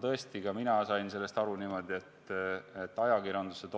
Tõesti, ka mina sain sellest aru niimoodi, et ajakirjanduse